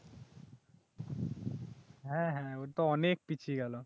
হ্যাঁ হ্যাঁ ও তো অনেক পিছিয়ে গেল